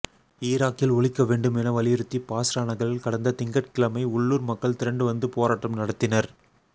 ஈராக்கில் ஒழிக்க வேண்டும் என வலியுறுத்தி பாஸ்ரா நகரில் கடந்த திங்கட்கிழமை உள்ளூர் மக்கள் திரண்டு வந்து போராட்டம் நடத்தினர்